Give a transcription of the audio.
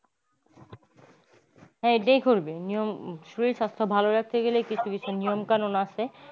হ্যা এইটাই করবি নিয়ম শরীর সাস্থ্য ভালো রাখতে হলে কিছু নিয়ম কানুন আছে।